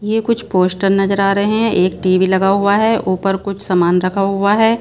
ये कुछ पोस्टर नजर आ रहे हैं एक टी_ वी_ लगा हुआ है ऊपर कुछ सामान रखा हुआ है।